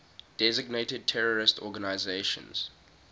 designated terrorist organizations